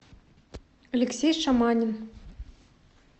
алексей шаманин